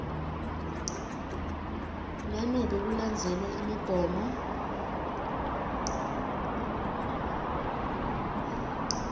nanobe kulandzelwe imigomo